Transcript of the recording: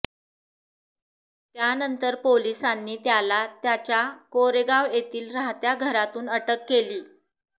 त्यानंतर पोलिसांनी त्याला त्याच्या कोरेगाव येथील राहत्या घरातून अटक केली